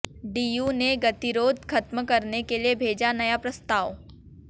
DU ने गतिरोध खत्म करने के लिए भेजा नया प्रस्ताव